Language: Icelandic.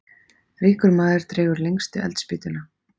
Ríkur maður dregur lengstu eldspýtuna.